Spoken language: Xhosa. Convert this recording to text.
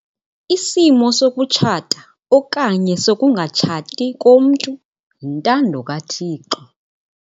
Isimo sokutshata okanye sokungatshati komntu yintando kaThixo.